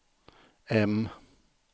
M